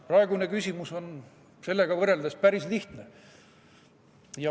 Praegune küsimus on sellega võrreldes päris lihtne.